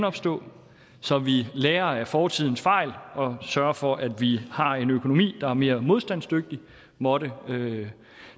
opstå så vi lærer af fortidens fejl og sørger for at vi har en økonomi der er mere modstandsdygtig måtte